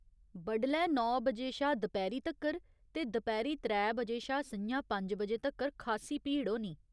बडलै नौ बजे शा दपैह्‌री तक्कर ते दपैह्‌री त्रै बजे शा स'ञां पंज बजे तक्कर खासी भीड़ होनी।